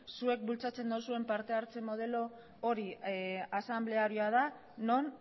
zuek bultzatzen duzuen partehartze modelo hori asanblearioa da non